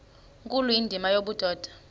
nkulu indima yobudoda